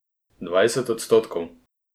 Dvajset odstotkov!